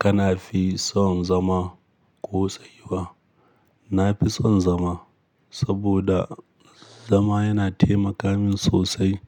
Kana fi son zama ko tsayuwa? Na fi son zama, saboda zama yana taimaka min sosai.